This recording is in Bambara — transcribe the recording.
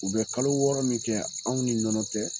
U bɛ kalo wɔɔrɔ min kɛ anw ni nɔnɔ tɛ